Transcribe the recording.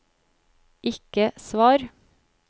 ikke svar